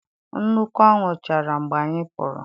Nnukwu anwụ chara mgbe anyị pụrụ.